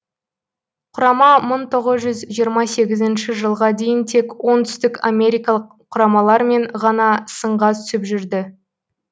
құрама мың тоғыз жүз жиырма сегізінші жылға дейін тек оңтүстік америкалық құрамалармен ғана сынға түсіп жүрді